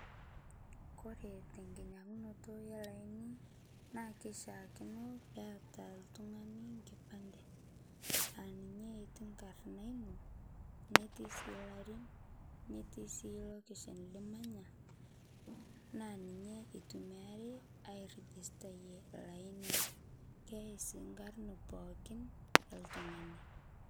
kore te nkinyangunoto elaini naa keishiakino peata ltungani nkipande aa ninye eti nkarna inoo netii sii larin netii sii loaction limanya naa ninye eitumiari airigistaye laini keyai sii nkarn pookin eltungani